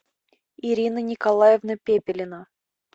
ирина николаевна пепелина